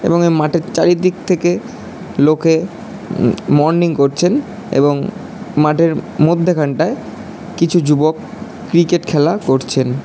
এবং এ মাঠের চারিদিক থেকে লোকে আম মর্নিং করছেন এবং মাঠের মধ্যে খানতায় কিছু যুবক ক্রিকেট খেলা করছেন।